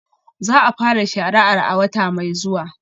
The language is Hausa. Za a fara shari'ar a wata mai zuwa